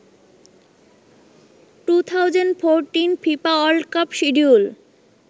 2014 Fifa world cup schedule